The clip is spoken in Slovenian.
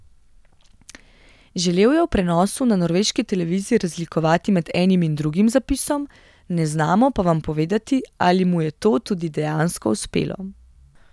Želel je v prenosu na norveški televiziji razlikovati med enim in drugim zapisom, ne znamo pa vam povedati, ali mu je to tudi dejansko uspelo.